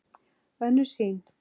Önnur sýn